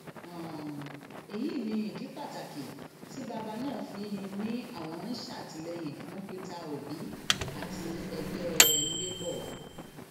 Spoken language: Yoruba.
um èyí ni ìdí pàtàkì tí bàbá ná fi ni àwọn ń ṣàtìlẹyìn fún peter obi àti ẹgbẹ um labour